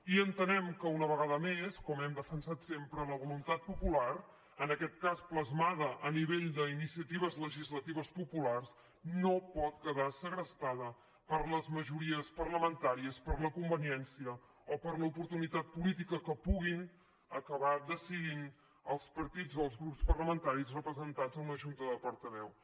i entenem que una vegada més com hem defensat sempre la voluntat popular en aquest cas plasmada a nivell d’iniciatives legislatives populars no pot quedar segrestada per les majories parlamentàries per la conveniència o per l’oportunitat política que puguin acabar decidint els partits dels grups parlamentaris representats en una junta de portaveus